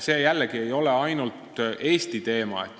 See ei ole ainult Eesti teema.